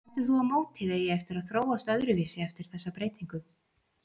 Heldur þú að mótið eigi eftir að þróast öðruvísi eftir þessa breytingu?